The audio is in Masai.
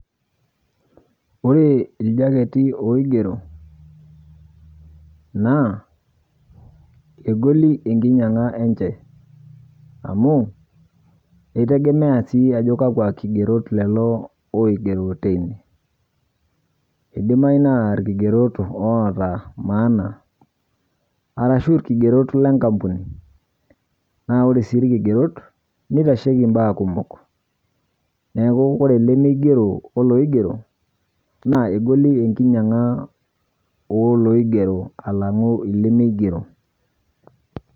Ore iljaketi oigero, naa egoli enkinyang'a enche amu eitegemea sii ajo kakwa kigerot lelo oigero teine. Eidimayu naa ilkigerot oata maana arashu ilkigerot lenkampuni. Naa ore sii ilkigerot neitasheiki imbaa kumok neaku ore lemeigero olooigero, naa egoli enkinyang'a olooigero alang'u ilemeigero.